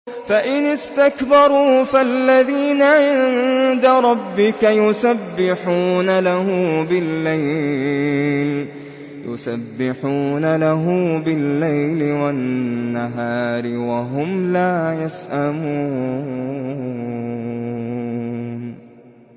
فَإِنِ اسْتَكْبَرُوا فَالَّذِينَ عِندَ رَبِّكَ يُسَبِّحُونَ لَهُ بِاللَّيْلِ وَالنَّهَارِ وَهُمْ لَا يَسْأَمُونَ ۩